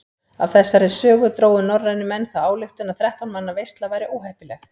Af þessari sögu drógu norrænir menn þá ályktun að þrettán manna veisla væri óheppileg.